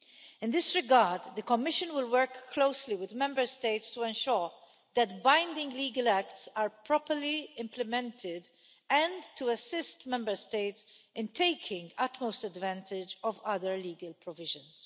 In in this regard, the Commission will work closely with Member States to ensure that binding legal acts are properly implemented, and to assist Member States in taking utmost advantage of other legal provisions.